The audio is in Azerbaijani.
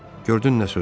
Gördün nə sözdür?